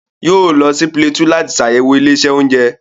Yóò lọ sí Plateau láti sàyẹ̀wò ilé-iṣẹ́ oúnjẹ.